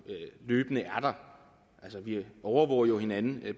løbende er der altså vi overvåger jo hinanden